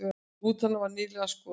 Rútan var nýlega skoðuð